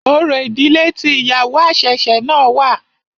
Orò ìdílé tí ìyàwó àṣẹ̀ṣẹ̀ náà wà.